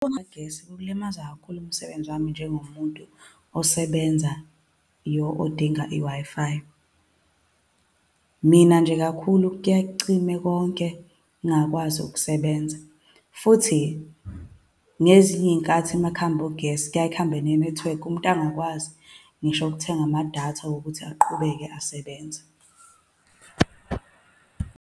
Ukucima kukagesi kulimaza kakhulu umsebenzi wami njengomuntu osebenzayo, odinga i-Wi-Fi. Mina nje kakhulu, kuyaye kucime konke, ngingakwazi ukusebenza. Futhi, ngezinye iy'nkathi uma kuhamba ugesi, kuyaye kuhambe ne-network, umuntu angakwazi ngisho ukuthenga amadatha wokuthi aqhubeke asebenze.